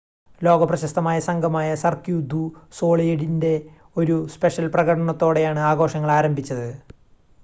ലോക പ്രശസ്തമായ സംഘമായ സർക്യൂ ദു സൊളീലിൻ്റെ ഒരു സ്പെഷ്യൽ പ്രകടനത്തോടെയാണ് ആഘോഷങ്ങൾ ആരംഭിച്ചത്